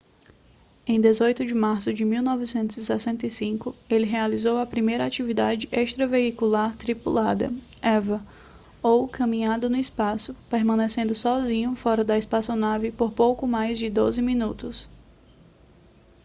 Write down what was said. em 18 de março de 1965 ele realizou a primeira atividade extraveicular tripulada eva ou caminhada no espaço permanecendo sozinho fora da espaçonave por pouco mais de doze minutos